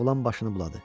Oğlan başını buladı.